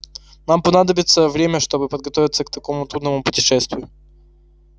нам понадобится время чтобы подготовиться к такому трудному путешествию